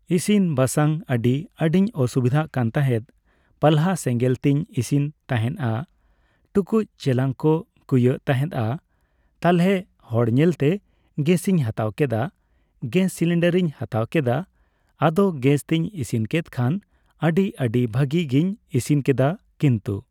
ᱤᱥᱤᱱᱼᱵᱟᱥᱟᱝ ᱟᱹᱰᱤ ᱟᱹᱰᱤᱧ ᱚᱥᱩᱵᱤᱫᱷᱟᱜ ᱠᱟᱱ ᱛᱟᱦᱮᱸᱫ ᱾ ᱯᱟᱞᱦᱟ ᱥᱮᱸᱜᱟᱞ ᱛᱤᱧ ᱤᱥᱤᱱ ᱛᱟᱦᱮᱱᱟ, ᱴᱩᱠᱩᱡᱼᱪᱮᱞᱟᱝ ᱠᱚ ᱠᱩᱭᱟᱹᱜ ᱛᱟᱦᱮᱸᱫᱼᱟ, ᱛᱟᱞᱦᱮ ᱦᱚᱲ ᱧᱮᱞᱛᱮ ᱜᱮᱥᱤᱧ ᱦᱟᱛᱟᱣ ᱠᱮᱫᱟ ᱾ ᱜᱮᱥ ᱥᱤᱞᱤᱱᱰᱟᱨᱤᱧ ᱦᱟᱛᱟᱣ ᱠᱮᱫᱟ ᱾ ᱟᱫᱚ ᱜᱮᱥ ᱛᱤᱧ ᱤᱥᱤᱱ ᱠᱮᱫ ᱠᱷᱟᱱ ᱟᱹᱰᱤ ᱟᱹᱰᱤ ᱵᱷᱟᱹᱜᱤ ᱜᱤᱧ ᱤᱥᱤᱱ ᱠᱮᱫᱟ ᱠᱤᱱᱛᱩ